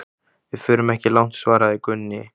Við förum ekki langt, svaraði Gunni.